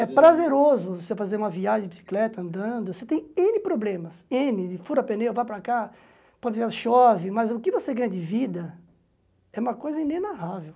É prazeroso você fazer uma viagem de bicicleta, andando, você tem êne problemas, êne, fura pneu, vai para cá, pode chover, mas o que você ganha de vida é uma coisa inenarrável.